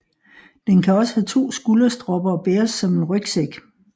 Den kan også have to skulderstropper og bæres som en rygsæk